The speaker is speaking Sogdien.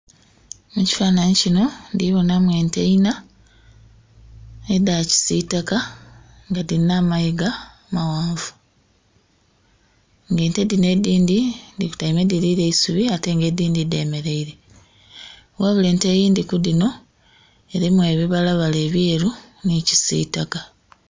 Mu kifanhanhi kino ndhi bonamu ente inna, edha kisitaka nga dhilina amayiga maghanvu. Ng'ente dhino edhindhi dhikotaime dhili lya eisubi ate nga edhindhi dhemeleire. Wabula ente eyindhi ku dhino erimu ebibalabala ebyeru nhi kisitaka.